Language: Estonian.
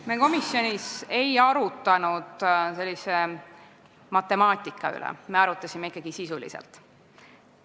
Me komisjonis ei arutlenud sellise matemaatika üle, me arutasime asja ikkagi sisuliselt.